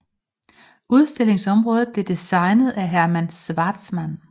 Udstillingsområdet blev designet af Hermann Schwarzmann